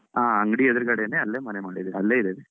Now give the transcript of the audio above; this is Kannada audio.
ಆ ಅಂಗಡಿ ಎದುರುಗಡೇನೇ ಅಲ್ಲೇ ಮನೆ ಮಾಡಿದ್ದೇನೆ, ಅಲ್ಲೇ ಇದ್ದೇವೆ.